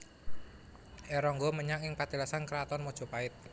R Ronggo menyang ing patilasan Kraton Mojopait